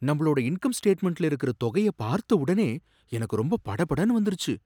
நம்பளோட இன்கம் ஸ்டேட்மெண்ட்ல இருக்குற தொகையை பார்த்த உடனே எனக்கு ரொம்ப படபடன்னு வந்துருச்சு.